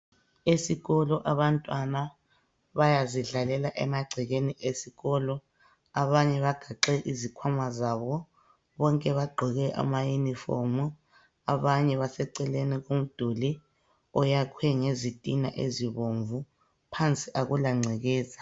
Isikolo abantwana bayazidlalela emagcekeni esikolo abanye bagaxe izikhwama zabo bonke bagqoke ama yunifomu abanye baseceleni komduli oyakhwe ngezitina ezibomvu phansi akula ngcekeza.